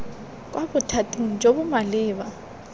kwa bothating jo bo maleba